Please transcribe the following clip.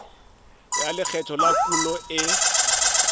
ya lekgetho la kuno e